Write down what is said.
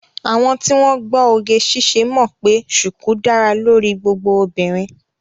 Àwọn tí wọ́n gbọ́ oge ṣíṣe mọ̀ pé ṣùkú dára lórí gbogbo obìnrin